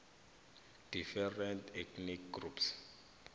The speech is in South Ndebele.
different ethnic groups